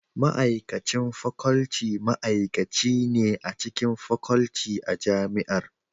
Ma'aikacin Faculty ma'aikaci ne a cikin Faculty a Jami'ar.